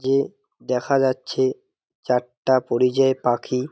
যে দেখা যাচ্ছে চারটা পরিযায় পাখি।